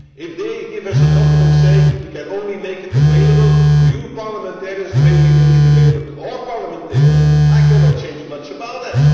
If they give us a document saying You can only make it available to your parliamentarians the way we make it available to our parliamentarians', I cannot change much about that.